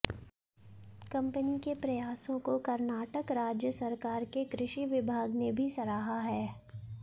company के प्रयासों को कर्नाटक राज्य सरकार के कृषि विभाग ने भी सराहा है